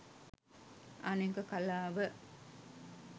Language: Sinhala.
අනෙක කලාව